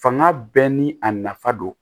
Fanga bɛɛ ni a nafa don